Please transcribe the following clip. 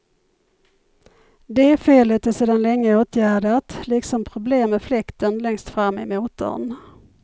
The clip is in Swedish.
Det felet är sedan länge åtgärdat, liksom problem med fläkten längst fram i motorn.